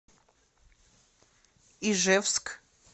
ижевск